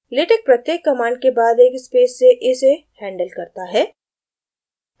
latex प्रत्येक command के बाद एक space से इसे handles करता है